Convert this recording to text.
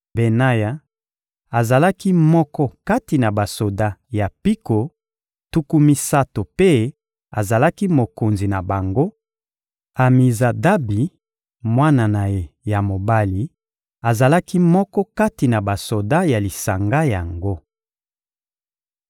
Benaya azalaki moko kati na basoda ya mpiko tuku misato mpe azalaki mokonzi na bango; Amizadabi, mwana na ye ya mobali, azalaki moko kati na basoda ya lisanga yango.